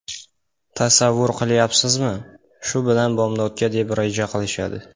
Tasavvur qilyapsizmi... Shu bilan bomdodga deb reja qilishadi.